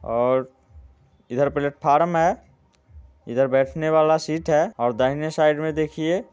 और इधर प्लेटफार्म है इधर बैठने वाला सीट है और दाहिने साइड में देखिए--